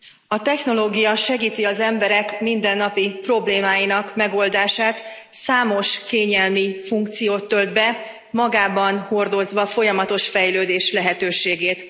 Elnök Úr! A technológia segíti az emberek mindennapi problémáinak megoldását, számos kényelmi funkciót tölt be, magában hordozva a folyamatos fejlődés lehetőségét.